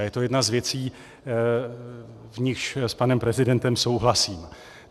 A je to jedna z věcí, v nichž s panem prezidentem souhlasím.